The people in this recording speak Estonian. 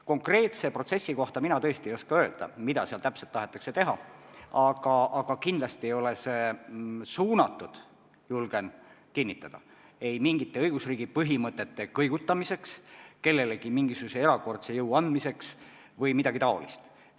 Konkreetse protsessi kohta mina tõesti ei oska öelda, mida seal täpselt tahetakse teha, aga kindlasti ei ole see suunatud, julgen kinnitada, mingite õigusriigi põhimõtete kõigutamisele, kellelegi mingisuguse erakordse mõjujõu andmisele või midagi taolist.